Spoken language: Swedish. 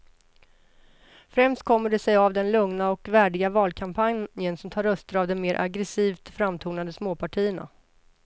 Främst kommer det sig av den lugna och värdiga valkampanjen som tar röster av de mer aggresivt framtonade småpartierna.